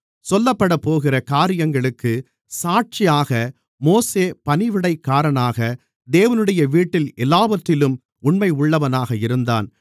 சொல்லப்படப்போகிற காரியங்களுக்குச் சாட்சியாக மோசே பணிவிடைக்காரனாக தேவனுடைய வீட்டில் எல்லாவற்றிலும் உண்மையுள்ளவனாக இருந்தான்